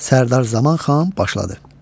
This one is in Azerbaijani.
Sərdar Zaman xan başladı: